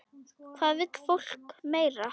Hvað vill fólk meira?